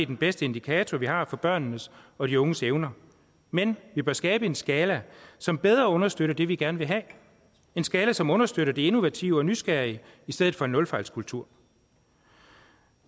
den bedste indikator vi har for børnenes og de unges evner men vi bør skabe en skala som bedre understøtter det vi gerne vil have en skala som understøtter det innovative og nysgerrige i stedet for en nulfejlskultur